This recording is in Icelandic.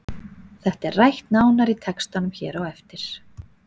Þetta er rætt nánar í textanum hér á eftir.